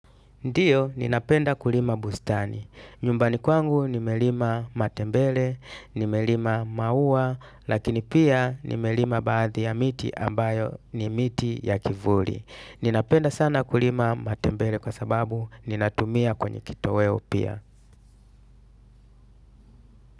Ndiyo, ninapenda kulima bustani. Nyumbani kwangu nimelima matembele, nimelima maua, lakini pia nimelima baadhi ya miti ambayo ni miti ya kivuli. Ninapenda sana kulima matembele kwa sababu ninatumia kwenye kitoweo pia.